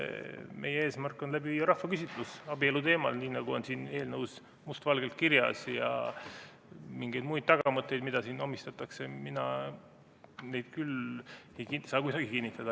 Meie eesmärk on läbi viia rahvaküsitlus abielu teemal, nii nagu on siin eelnõus must valgel kirjas, ja mingeid muid tagamõtteid, mida siin meile omistatakse, ei saa mina küll kuidagi kinnitada.